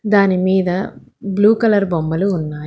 దాని మీద blue colour బొమ్మలు ఉన్నాయి.